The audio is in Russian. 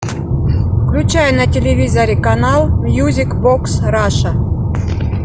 включай на телевизоре канал мьюзик бокс раша